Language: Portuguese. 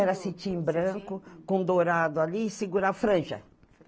Era cetim branco, com dourado ali, e segura a franja.